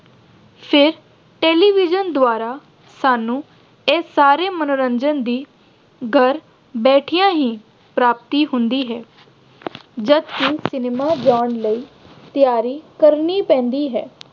ਫਿਰ television ਦੁਆਰਾ ਸਾਨੂੰ ਇਹ ਸਾਰੇ ਮੰਨੋਰੰਜਨ ਦੀ ਘਰ ਬੈਠਿਆਂ ਹੀ ਪ੍ਰਾਪਤੀ ਹੁੰਦੀ ਹੈ। ਜਦ ਕਿ cinema ਜਾਣ ਲਈ ਤਿਆਰੀ ਕਰਨੀ ਪੈਂਦੀ ਹੈ।